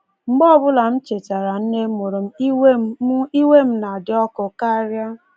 Mgbe ọbụla m chetara nne mụrụ m, iwe m m, iwe m na-adị ọkụ karịa.”